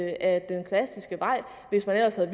ad den klassiske vej hvis der ellers havde